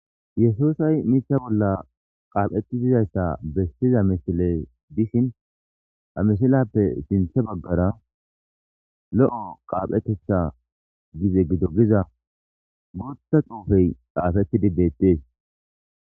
yesuusay iza bolla qaaphetti uttida misile bessiz missiley de7ishin izappe sinthe baggarabooththa xuufey xaafettidi beettees.